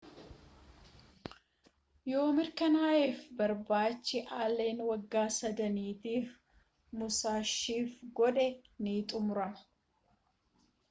yoo mirkanaa'eef barbaachi allen waggaa saddeetiif musashiif godhe ni xumurama